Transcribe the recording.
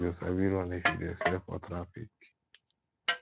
you go sabi run if you dey sell for traffic